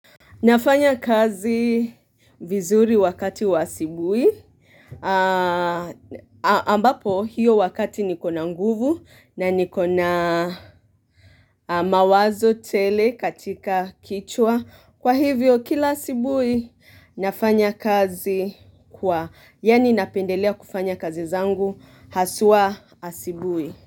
Nafanya kazi vizuri wakati wa asubuhi, ambapo hiyo wakati nikona nguvu na nikona mawazo tele katika kichwa, kwa hivyo kila asubuhi, nafanya kazi kwa yaani napendelea kufanya kazi zangu haswa asubuhi.